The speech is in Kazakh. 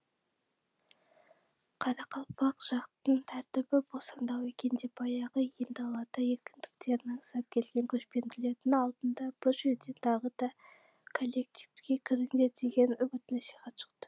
қарақалпақ жақтың тәртібі босаңдау екен деп баяғы ен даладағы еркіндіктерін аңсап келген көшпенділердің алдынан бұ жерден тағы да кәлектипке кіріңдер деген үгіт насихат шықты